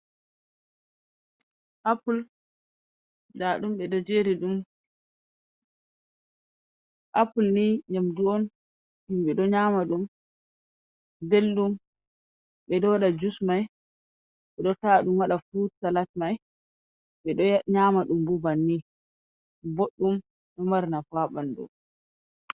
Appol, da ɗum ɓe jeeri ɗum, appol ni nyamdu’on himɓe do nyama ɗum belɗum, ɓe do waɗa jus mai, ɓe do ta'aɗum waɗa furut salat mai ɓe do nyama ɗum bannin. budɗum, do mari nafu bo ha ɓandu.